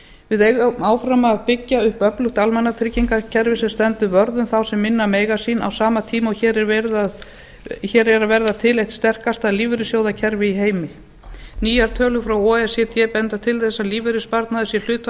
við eigum áfram að byggja upp öflugt almannatryggingakerfi sem stendur vörð um þá sem minna mega sín á sama tíma og hér er að verða til eitt sterkasta lífeyrissjóðakerfi í heimi nýjar tölur frá o e c d benda til þess að lífeyrissparnaður sé